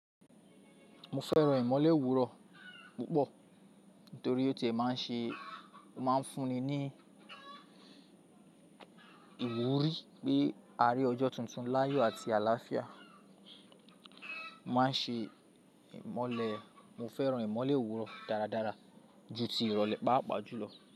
Mo fẹ́ràn ìmọ́lẹ̀ òwúrọ̀ púpọ̀ nítorí ó ti ẹ̀ máa ń ṣe, ó máa ń fúnni ní ìwúrí pé a rí ọjọ́ tuntun láyọ̀ àti àlàáfíà. Wá ń ṣe ìmọ́lẹ̀, mo fẹ́ràn ìmọ́lẹ̀ òwúrọ̀ dáradára ju ti ìrọ̀lẹ́ pàápàá jù lọ.